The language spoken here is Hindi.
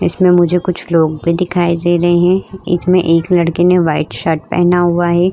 इसमें मुझे कुछ लोग भी दिखाई दे रहे हैं इछमें एक लड़के ने व्हाइट शर्ट पहना हुआ है।